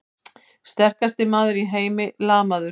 Sterkasti maður í heimi lamaður!